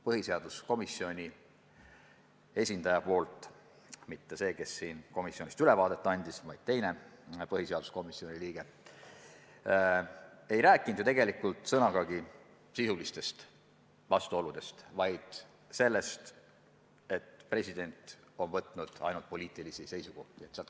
Põhiseaduskomisjoni esindaja – mitte see, kes siin komisjoni tööst ülevaadet andis, vaid teine põhiseaduskomisjoni liige – ei öelnud tegelikult sõnagi sisuliste vastuolude kohta, vaid rääkis sellest, et president on võtnud poliitilisi seisukohti.